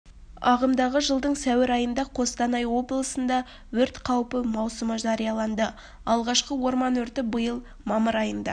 ағымдағы жылдың сәуір айында қостанай облысында өрт қаупі маусымы жарияланды алғашқы орман өрті биыл мамыр айында